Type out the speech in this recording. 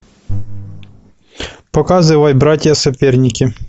показывай братья соперники